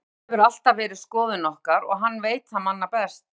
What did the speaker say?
Þetta hefur alltaf verið skoðun okkar og hann veit það manna best.